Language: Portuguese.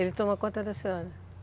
Ele toma conta da senhora?